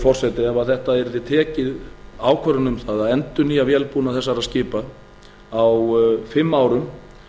forseti ef tekin yrði ákvörðun um það að endurnýja vélbúnað þessara skipa á fimm árum